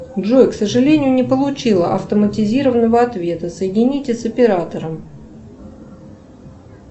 джой к сожалению не получила автоматизированного ответа соедините с оператором